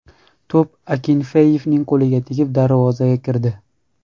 To‘p Akinfeyevning qo‘liga tegib, darvozaga kirdi.